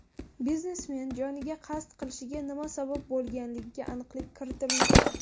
Biznesmen joniga qasd qilishiga nima sabab bo‘lganiga aniqlik kiritilmoqda.